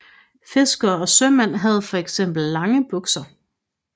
Fiskerne og sømændene havde for eksempel lange bukser